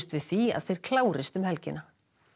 við því að þeir klárist um helgina